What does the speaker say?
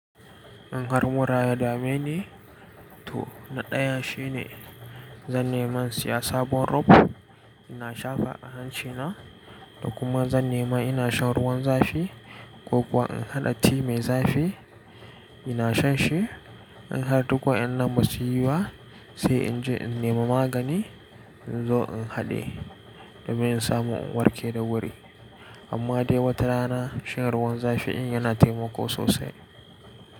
In har mura ya dame ni, to na ɗaya shine zan nemi in siya sabon rub ina shafa a hancina da kuma zan nemi ina shan ruwan zafi ko kuwa in haɗa tea mai zafi ina shan shi. In har duk wa'annan ba su yi ba sai in je in nemi magani in zo in haɗe domin in samu in warke da wuri. Amma dai wata rana shan ruwan zafi in yana taimako sosai.